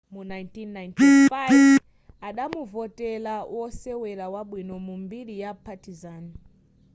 mu 1995 adamuvotera wosewera wabwino mu mbiri ya partizan